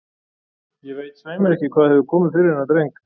Ég veit svei mér ekki hvað hefur komið fyrir þennan dreng.